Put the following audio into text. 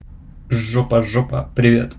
жопа жопа привет